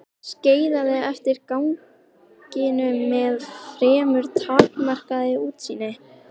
Skeiðaði eftir ganginum með fremur takmarkað útsýni.